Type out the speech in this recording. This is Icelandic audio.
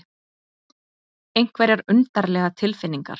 Einhverjar undarlegar tilfinningar.